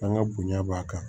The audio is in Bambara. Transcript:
An ka bonya b'a kan